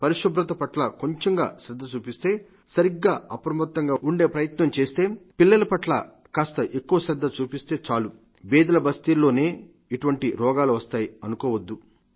స్వచ్ఛత పట్ల కొంచెంగా శ్రద్ధ చూపిస్తే సరిగ్గా అప్రమత్తంగా ఉండి జాగ్రత్తగా ఉండే ప్రయత్నం చేస్తే పిల్లల పట్ల కాస్త ఎక్కువ శ్రద్ధ చూపిస్తే చాలు బీదల బస్తీల్లోనే ఇటువంటి రోగులు వస్తాయి అనుకోవద్దు